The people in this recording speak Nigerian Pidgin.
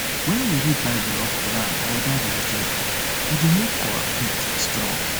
when we read bible or quran or oda religious books e dey make our faith our faith strong